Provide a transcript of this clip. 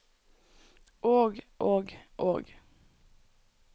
og og og